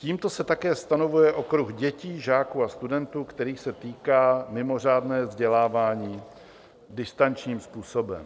Tímto se také stanovuje okruh dětí, žáků a studentů, kterých se týká mimořádné vzdělávání distančním způsobem.